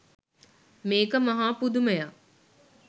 මේක මහා පුදුමයක්